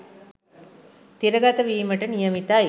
තිරගත වීමට නියමිතයි..